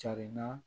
Carinna